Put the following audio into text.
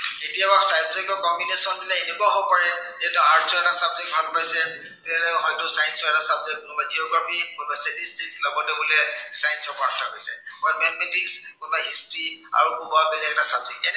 কেতিয়াবা subject ৰ combination বিলাক এনেকুৱাও হব পাৰে, যে হয়তো arts ৰ এটা subject ভাল পাইছে, এৰ হয়তো science ৰ এটা subject কোনোবাই geography, dstatistics লগতে বোলে science ৰ পৰা এটা লৈছে। বা mathematics কোনোবাই history আৰু কোনোবাই এটা subject